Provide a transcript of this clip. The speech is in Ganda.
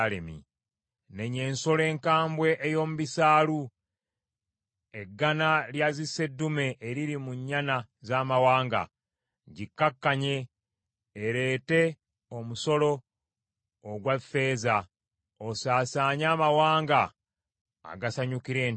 Nenya ensolo enkambwe ey’omu bisaalu, eggana lya ziseddume eriri mu nnyana z’amawanga. Gikkakkanye ereete omusolo ogwa ffeeza. Osaasaanye amawanga agasanyukira entalo.